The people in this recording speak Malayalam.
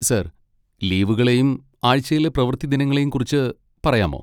സർ, ലീവുകളെയും ആഴ്ചയിലെ പ്രവൃത്തി ദിനങ്ങളെയും കുറിച്ച് പറയാമോ?